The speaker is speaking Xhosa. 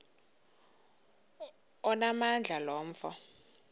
onamandla lo mfo